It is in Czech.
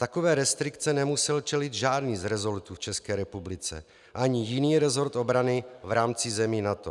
Takové restrikci nemusel čelit žádný z resortů v České republice ani jiný resort obrany v rámci zemí NATO.